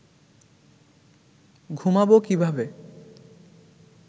ঘুমাব কীভাবে